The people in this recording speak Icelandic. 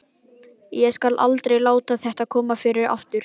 Ég skal aldrei láta þetta koma fyrir aftur.